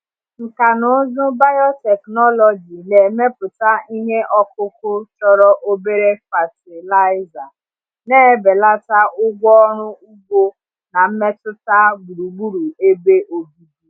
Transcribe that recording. Nkà na ụzụ biotechnology na-emepụta ihe ọkụkụ chọrọ obere fatịlaịza, na-ebelata ụgwọ ọrụ ugbo na mmetụta gburugburu ebe obibi.